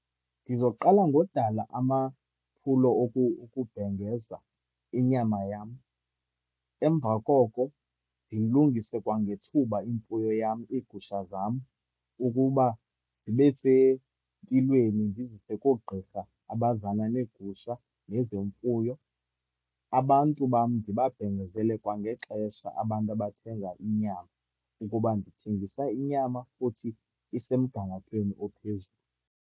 Ndizoqala ngodala amaphulo okubhengeza inyama yam. Emva koko ndilungise kwangethuba imfuyo yam, iigusha zam, ukuba zibe sempilweni, ndizise koogqirha abazana neegusha nezemfuyo. Abantu bam ndibabhengezele kwangexesha, abantu abathenga inyama, ukuba ndithengisa inyama futhi isemgangathweni ophezulu.